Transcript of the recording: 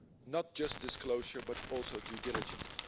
not just disclosure but also due diligence.